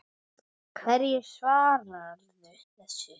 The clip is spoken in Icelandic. Hverju svararðu þessu?